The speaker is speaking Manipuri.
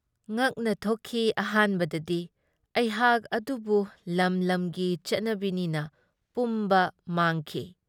ꯉꯛꯅ ꯊꯣꯛꯈꯤ ꯑꯍꯥꯟꯕꯗꯗꯤ ꯑꯩꯍꯥꯛ ꯑꯗꯨꯕꯨ ꯂꯝ ꯂꯝꯒꯤ ꯆꯠꯅꯕꯤꯅꯤꯅ ꯄꯨꯝꯕ ꯃꯥꯡꯈꯤ꯫